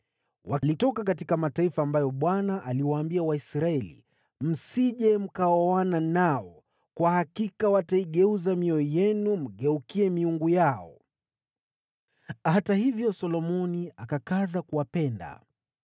Walitoka katika mataifa ambayo Bwana aliwaambia Waisraeli, “Msije mkaoana nao, kwa kuwa hakika wataigeuza mioyo yenu mgeukie miungu yao.” Hata hivyo, Solomoni akakaza kuwapenda.